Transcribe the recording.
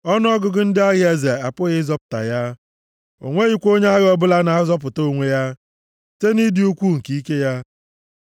Ọnụọgụgụ ndị agha eze apụghị ịzọpụta ya; o nweghị onye agha ọbụla na-azọpụta onwe ya, site nʼịdị ukwuu nke ike ya.